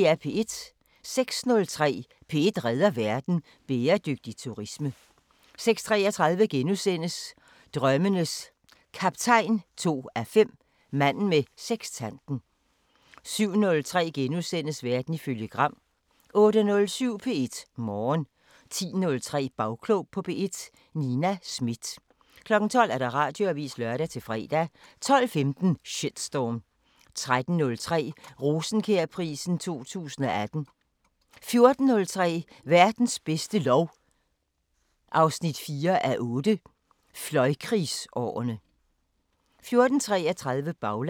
06:03: P1 redder verden: Bæredygtig turisme 06:33: Drømmenes Kaptajn 2:5 – Manden med sekstanten * 07:03: Verden ifølge Gram * 08:07: P1 Morgen 10:03: Bagklog på P1: Nina Smith 12:00: Radioavisen (lør-fre) 12:15: Shitstorm 13:03: Rosenkjærprisen 2018 14:03: Verdens bedste lov 4:8 – Fløjkrigsårene 14:33: Baglandet